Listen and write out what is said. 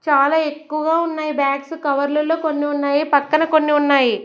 చాలా ఎక్కువగా ఉన్నాయి బ్యాగ్స్ కవర్లలో కొన్ని ఉన్నాయి పక్కన కొన్ని ఉన్నాయి.